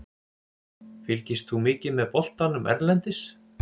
Fylgist þú mikið með boltanum erlendis?